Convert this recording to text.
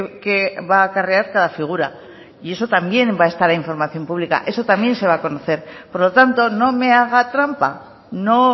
qué va a acarrear cada figura y eso también va a estar en información pública eso también se va a conocer por lo tanto no me haga trampa no